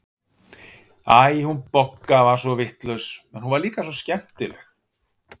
Æ, hún Bogga var svo vitlaus, en hún var líka svo skemmtileg.